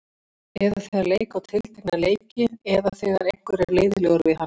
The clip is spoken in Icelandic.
Eða þegar leika á tiltekna leiki eða þegar einhver er leiðinlegur við hann?